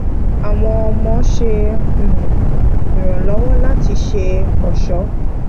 àwọn ọmọ ṣe um ìrànlọwọ láti ṣe ọṣọ